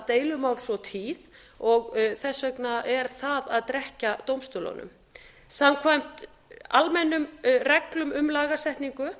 deilumál svo tíð og þess vegna er það að drekkja dómstólunum samkvæmt almennum reglum um lagasetningu